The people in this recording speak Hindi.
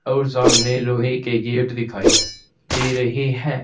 और सामने लोहे के गेट दिखाई दे रहे है।